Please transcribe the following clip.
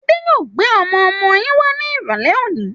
Adé yòó gbé ọmọ-ọmọ yín wá ní irọ̀lẹ́ òní.